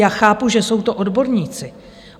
Já chápu, že jsou to odborníci.